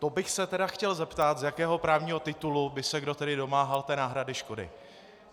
To bych se tedy chtěl zeptat, z jakého právního titulu by se tedy kdo domáhal té náhrady škody.